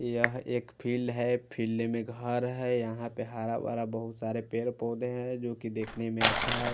लिया है एक फिल है फिल्ड में घास है यहाँ पे हरा भरा बहुत सारे पेड़ पोधे है जोकि देखने में अच्छा है।